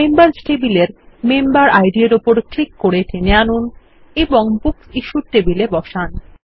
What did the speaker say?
members টেবিলের member ID র উপর ক্লিক করে টেনে আনুন এবং বুকস ইশ্যুড টেবিলে বসান